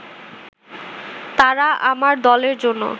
তারা আমার দলের জন্য